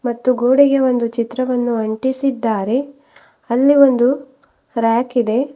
ಮತ್ತು ಗೋಡೆಗೆ ಒಂದು ಚಿತ್ರವನ್ನು ಅಂಟಿಸಿದ್ದಾರೆ ಅಲ್ಲಿ ಒಂದು ರ್ಯಾಕ್ ಇದೆ.